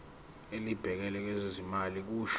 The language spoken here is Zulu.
elibhekele ezezimali kusho